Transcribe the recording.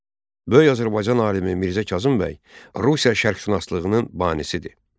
Böyük Azərbaycan alimi Mirzə Kazım bəy Rusiya şərqşünaslığının banisidir.